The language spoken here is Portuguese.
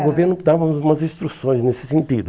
O governo dava umas umas instruções nesse sentido.